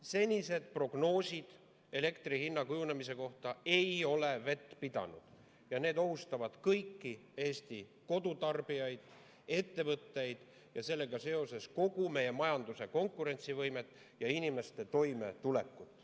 Senised prognoosid elektri hinna kujunemise kohta ei ole vett pidanud ja need ohustavad kõiki Eesti kodutarbijaid, ettevõtteid ja sellega seoses kogu meie majanduse konkurentsivõimet ja inimeste toimetulekut.